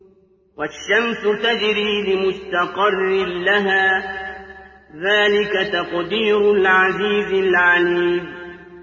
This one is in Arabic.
وَالشَّمْسُ تَجْرِي لِمُسْتَقَرٍّ لَّهَا ۚ ذَٰلِكَ تَقْدِيرُ الْعَزِيزِ الْعَلِيمِ